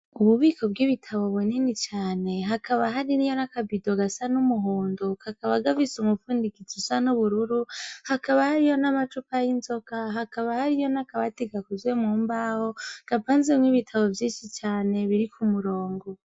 Ububiko bw'ibitabo bwe neni cane hakaba hari ri yo n'akabido gasa n'umuhundo kakaba gavise umupfundikiza usa n'ubururu hakaba hariyo n'amacuka y'inzoka hakaba hariyo n'akabati gakuzwe mu mbawo gapa nzemwo ibitabo vy'inshi cane biri ku murongo.